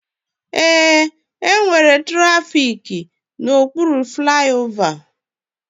Ee, enwere trafiki na okpuru flaiova